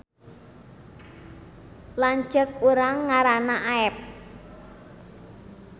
Lanceuk urang ngaranna Aep